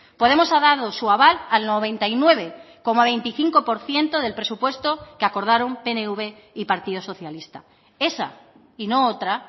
podemos ha dado su aval al noventa y nueve coma veinticinco por ciento del presupuesto que acordaron pnv y partido socialista esa y no otra